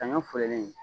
Saɲɔ fololen